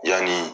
Yanni